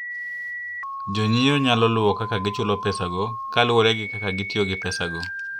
Jonyiewo nyalo luwo kaka gichulo pesago kaluwore gi kaka gitiyo gi pesago.